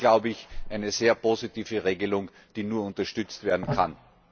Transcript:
In Summe, glaube ich, eine sehr positive Regelung, die nur unterstützt werden kann!